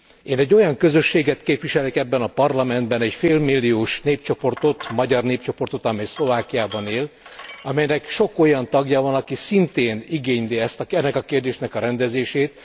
Én egy olyan közösséget képviselek ebben a Parlamentben, egy félmilliós népcsoportot magyar népcsoportot, amely Szlovákiában él amelynek sok olyan tagja van, aki szintén igényli ennek a kérdésnek a rendezését.